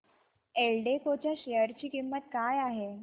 एल्डेको च्या शेअर ची किंमत काय आहे